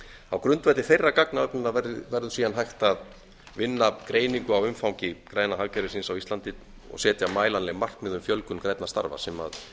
á grundvelli þeirrar gagnaöflunar verður síðan hægt að vinna greiningu á umfangi græna hagkerfisins á íslandi og setja mælanleg markmið um fjölgun grænna starfa sem